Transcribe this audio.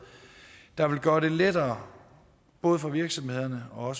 der vil gøre det lettere både for virksomhederne og